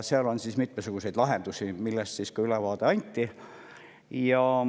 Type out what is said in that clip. Sellele on mitmesuguseid lahendusi, mille kohta ka ülevaade anti.